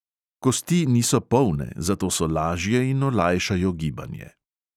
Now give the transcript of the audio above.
Kosti niso polne, zato so lažje in olajšajo gibanje.